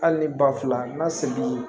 Hali ni ba fila n ka segi